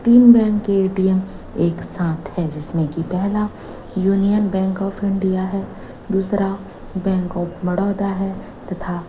तीन बैंक का ए_टी_एम एक साथ है जिसमें की पेहला यूनियन बैंक ऑफ़ इंडिया है दूसरा है तथा--